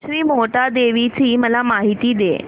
श्री मोहटादेवी ची मला माहिती दे